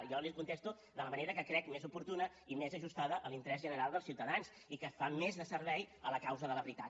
jo les hi contesto de la manera que crec més oportuna i més ajustada a l’interès general dels ciutadans i que fa més servei a la causa de la veritat